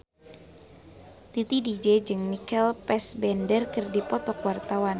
Titi DJ jeung Michael Fassbender keur dipoto ku wartawan